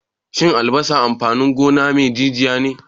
Shin albasa amfanin gona me jijiya ne?